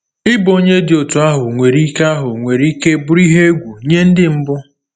Ịbụ onye dị otú ahụ nwere ike ahụ nwere ike bụrụ ihe egwu nye Ndị mbụ?